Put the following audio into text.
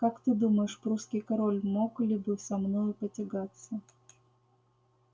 как ты думаешь прусский король мог ли бы со мною потягаться